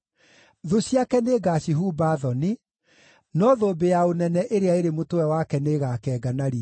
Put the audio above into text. Thũ ciake nĩngacihumba thoni, no thũmbĩ ya ũnene ĩrĩa ĩrĩ mũtwe wake nĩĩgakenga na riiri.”